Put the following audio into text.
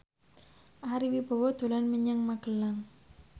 Ari Wibowo dolan menyang Magelang